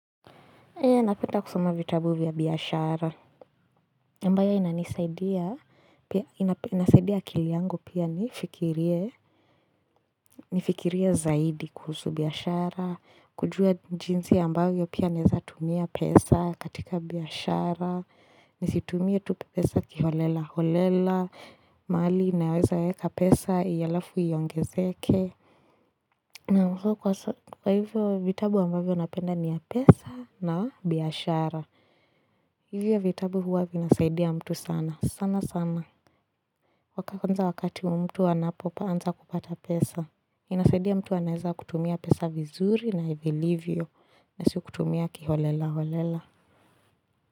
Napenda kusoma vitabu vya biashara. aMbayo inasaidia akili yangu pia nifikirie zaidi kuhusu biashara. Kujua jinzi ambayo pia naeza tumia pesa katika biashara. Nisitumie tu pesa kiholela holela. Mali inaweza eka pesa, iyalafu iongezeke. Na mkwa hivyo vitabu ambayo napenda ni ya pesa na biashara. Hivyo vitabu huwa vinasaidia mtu sana, sana sana. Kwanza wakati mtu anapoanza kupata pesa. Inasaidia mtu anaeza kutumia pesa vizuri na vilivyo. Na sio kutumia kiholela holela.